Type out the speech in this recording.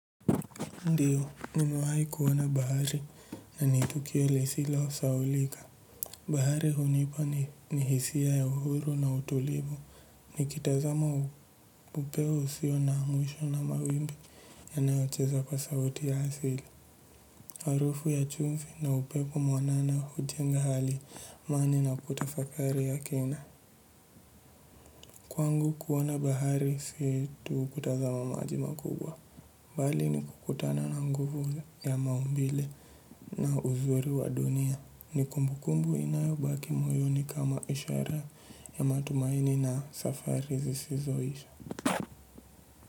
Ndiyo, nimewai kuwona bahari nanitukio lesilo saulika. Bahari hunipa ni hisia ya uhuru na utulivu. Nikitazama upewo usio na mwisho na mawimbi yanaocheza kwa sauti ya asili. Harufu ya chumvi na upepo mwanana hujenga hali imani na kutafakari ya kina. Kwangu kuwona bahari si tu kutazama maji makubwa. Mbali ni kukutana na nguvu ya maumbile na uzuri wa dunia ni kumbukumbu inayobaki moyoni kama ishara ya matumaini na safari zisizo isha.